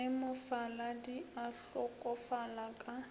ge mofaladi a hlokofala ka